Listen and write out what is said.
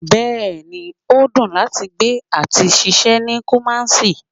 Bẹẹni, o dùn láti gbé àti ṣiṣẹ́ ní Kumasi